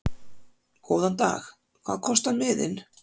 Góðan dag. Hvað kostar miðinn?